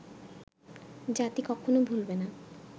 জাতি কখনো ভুলবে না